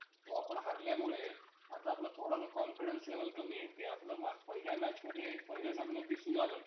जीवननिष्ठा. त्यांच्या अं त्यांच्या स्वतः ला साहित्यिक म्हणवून घेण्याचा आग्रह धरला नाही हे खरं, पण ते खरोखरीच चांगले साहित्यिक होते.